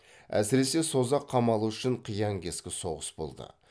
әсіресе созақ қамалы үшін қиян кескі соғыс болды